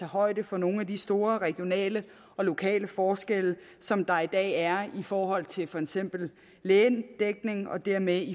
højde for nogle af de store regionale og lokale forskelle som der i dag er i forhold til for eksempel lægedækningen og dermed